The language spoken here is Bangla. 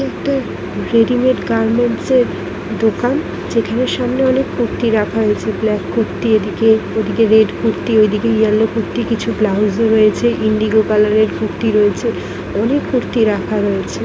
একটু রেডিমেড গার্মেন্টস -এর দোকান যেখানে সামনে অনেক কুর্তি রাখা হয়েছে | ব্ল্যাক কুর্তি এদিকে ওদিকে রেড কুর্তি ওদিকে ইয়েলো কুর্তি কিছু ব্লাউজ ও রয়েছে ইন্ডিগো কালার -এর কুর্তি রয়েছে অনেক কুর্তি রাখা রয়েছে ।